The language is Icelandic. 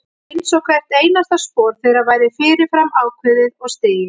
Einsog hvert einasta spor þeirra væri fyrir fram ákveðið og stigið.